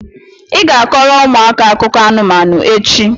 ị ga-akọrọ ụmụaka akụkọ anụmanụ echi!